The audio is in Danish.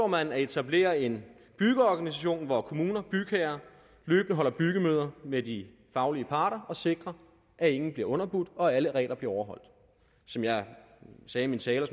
man at etablere en byggeorganisation hvor kommuner bygherrer løbende holder byggemøder med de faglige parter og sikrer at ingen bliver underbudt og at alle regler bliver overholdt som jeg sagde i min tale og